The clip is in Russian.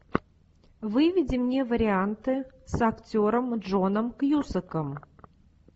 выведи мне варианты с актером джоном кьюсаком